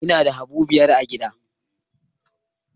Ina da habu biyar a gidan